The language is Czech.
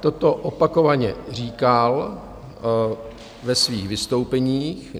Toto opakovaně říkal ve svých vystoupeních.